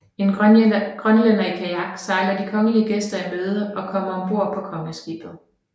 En grønlænder i kajak sejler de kongelige gæster i møde og kommer om bord på kongeskibet